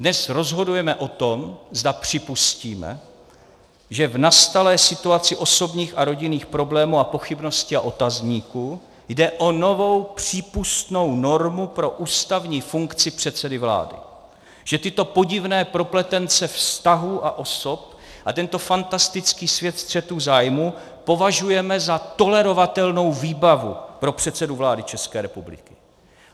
Dnes rozhodujeme o tom, zda připustíme, zda v nastalé situaci osobních a rodinných problémů a pochybností a otazníků jde o novou přípustnou normu pro ústavní funkci předsedy vlády, že tyto podivné propletence vztahů a osob a tento fantastický svět střetů zájmů považujeme za tolerovatelnou výbavu pro předsedu vlády České republiky.